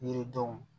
Yiridenw